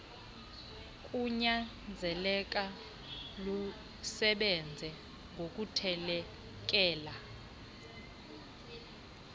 kunyanzeleka lusebenze ngokuthelekelela